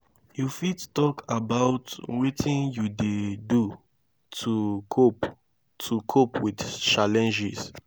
you fit talk about wetin you dey do to cope to cope with challenges?